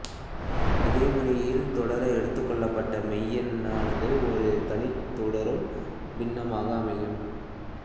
இதேமுறையில் தொடர எடுத்துக்கொள்ளப்பட்ட மெய்யெண்ணானது ஒரு தனித்த தொடரும் பின்னமாக அமையும்